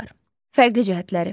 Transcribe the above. Fərqli cəhətləri.